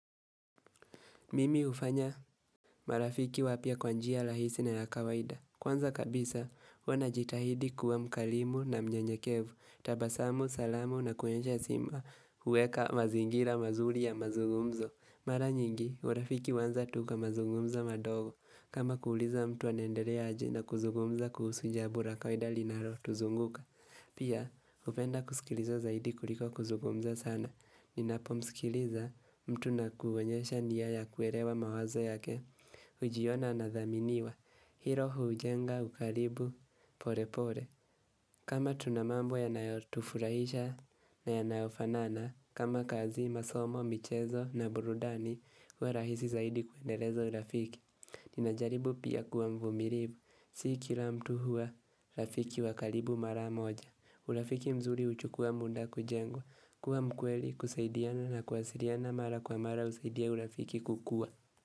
Mimi ufanya marafiki wapya kwa njia lahisi na ya kawaida. Kwanza kabisa, huwa najitahidi kuwa mkalimu na mnyenyekevu, tabasamu, salamu na kuonyesha sima uweka mazingira mazuri ya mazungumzo. Mara nyingi, urafiki uanza tu kwa mazungumza madogo. Kama kuuliza mtu anendeleaje na kuzugumza kuhusu jambo la kawaida linalotuzunguka. Pia, hupenda kusikiliza zaidi kuliko kuzugumza sana. Ninapomsikiliza mtu na kuonyesha nia ya kuelewa mawazo yake Ujiona nadhaminiwa Hilo hujenga ukaribu pole pole kama tunamambo yanayotufurahisha na yanaofanana kama kazi masomo, michezo na burudani wa rahisi zaidi kuendeleza urafiki Ninajaribu pia kuwa mvumilivu Si kila mtu hua rafiki wa karibu mara moja urafiki mzuri uchukua muda kujengo kuwa mkweli kusaidiana na kuwasiliana mara kwa mara husaidia urafiki kukua.